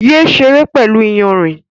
Yé ṣeré pẹ̀lú iyanrìn